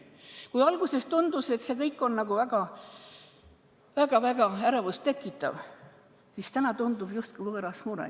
Kui alguses tundus, et see kõik on väga-väga ärevust tekitav, siis täna tundub see justkui võõras mure.